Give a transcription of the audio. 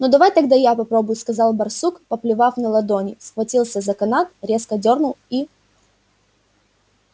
ну давай тогда я попробую сказал барсук поплевав на ладони схватил за канат резко дёрнул и